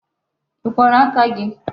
I kworo aka gi?